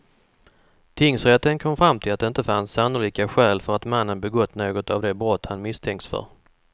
Tingsrätten kom fram till att det inte fanns sannolika skäl för att mannen begått något av de brott han misstänkts för.